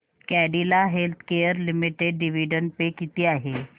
Cadila healthcare limited dividend pay किती आहे